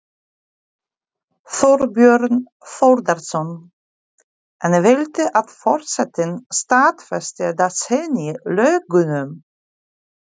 Þorbjörn Þórðarson: En viltu að forsetinn staðfesti eða synji lögunum?